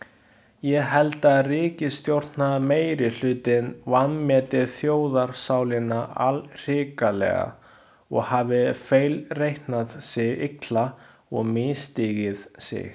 Ég held að ríkisstjórnarmeirihlutinn vanmeti þjóðarsálina allhrikalega og hafi feilreiknað sig illa og misstigið sig.